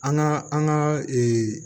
An ka an ka